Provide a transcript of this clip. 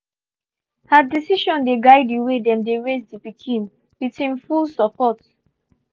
her decision dey guide the way dem they raise the pikin with him full support